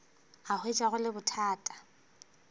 a hwetša go le bothata